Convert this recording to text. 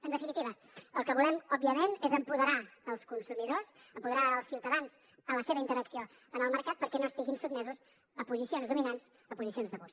en definitiva el que volem òbviament és empoderar els consumidors empoderar els ciutadans en la seva interacció en el mercat perquè no estiguin sotmesos a posicions dominants a posicions d’abús